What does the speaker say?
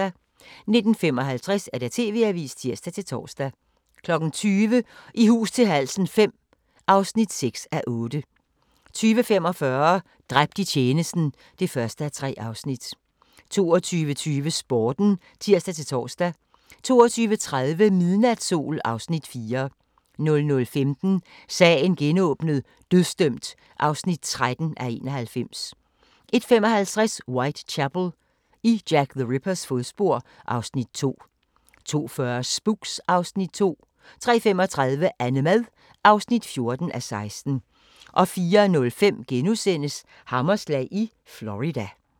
19:55: TV-avisen (tir-tor) 20:00: I hus til halsen V (6:8) 20:45: Dræbt i tjenesten (1:3) 22:20: Sporten (tir-tor) 22:30: Midnatssol (Afs. 4) 00:15: Sagen genåbnet: Dødsdømt (13:91) 01:55: Whitechapel: I Jack the Rippers fodspor (Afs. 2) 02:40: Spooks (Afs. 2) 03:35: Annemad (14:16) 04:05: Hammerslag i Florida *